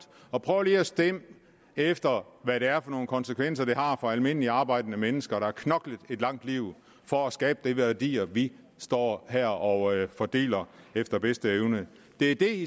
og prøver at stemme efter hvad det er for konsekvenser det har for almindelige arbejdende mennesker der har knoklet et langt liv for at skabe de værdier vi står her og fordeler efter bedste evne det er det